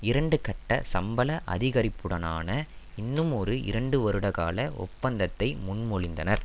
இரண்டு கட்ட சம்பள அதிகரிப்புடனான இன்னுமொரு இரண்டு வருடகால ஒப்பந்தத்தை முன்மொழிந்தனர்